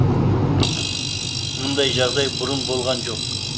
мұндай жағдай бұрын болған жоқ